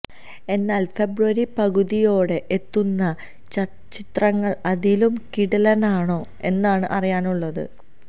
എന്നാല് ഫെബ്രുവരി പകുതിയോടെ എത്തുന്ന ചിത്രങ്ങള് അതിലും കിടിലനാണോ എന്നാണ് അറിയാനുള്ളത്